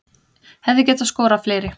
Hefði getað skorað fleiri